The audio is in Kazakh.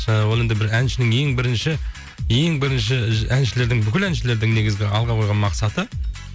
жаңағы ол енді бір әншінің ең бірінші ең бірінші әншілердің бүкіл әншілердің негізгі алға қойған мақсаты